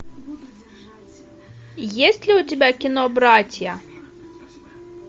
есть ли у тебя кино братья